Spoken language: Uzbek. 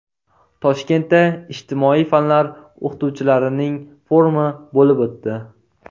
Toshkentda ijtimoiy fanlar o‘qituvchilarining forumi bo‘lib o‘tdi.